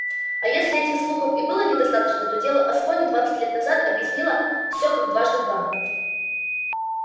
а если этих слухов и было недостаточно то дело аскони двадцать лет назад объяснило всё как дважды два